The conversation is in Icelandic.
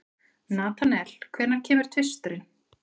Natanael, hvenær kemur tvisturinn?